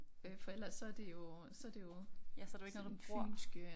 Øh for ellers så det jo så det jo sådan fynske